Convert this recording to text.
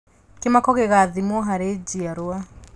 Kĩmako gĩgathimwo harĩ njiarwa